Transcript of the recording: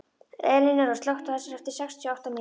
Elinóra, slökktu á þessu eftir sextíu og átta mínútur.